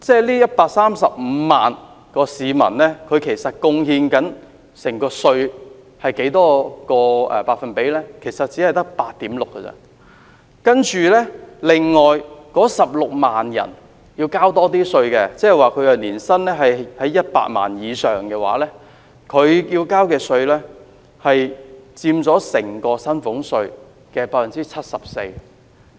這135萬人所貢獻的稅款，其實只佔整體薪俸稅稅收的 8.6%， 而另外16萬名要繳交較高薪俸稅稅款，即年薪100萬元以上的人，他們要繳交的稅款佔整個薪俸稅稅收的 74%。